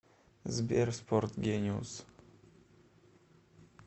сбер спорт гениус